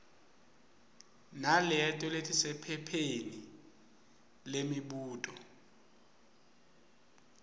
naleto letisephepheni lemibuto